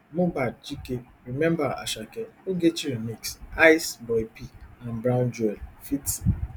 mohbad chike remember asake ogechi remix hyce boypee and brown joel ft